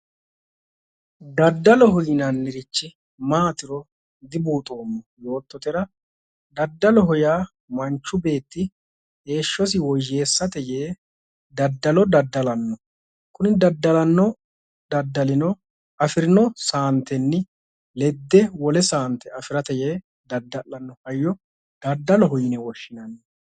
Daddalloho yinannirichi maatiro dibuuxoommo yoottotera daddalloho yaa manchi beetti heeshshosi woyeessate yee daddallo daddallanno kunni daddallano daddallino afirino saante ledatte yee assanoricho daddalloho yine woshshinanni